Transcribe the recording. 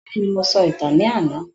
Bẹ́ẹ̀ni, mo sọ ìtàn ní àná.